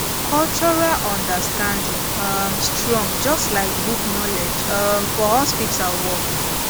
cultural understanding um strong just like book knowledge um for hospital work